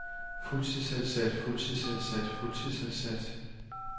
fuldtidsansat fuldtidsansat fuldtidsansat